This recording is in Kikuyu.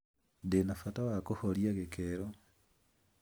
Ndĩ na bata wa kũhoria gikero.